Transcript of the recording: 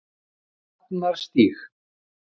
Sjafnarstíg